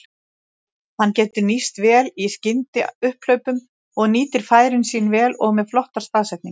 Hann getur nýst vel í skyndiupphlaupum og nýtir færin sín vel og með flottar staðsetningar.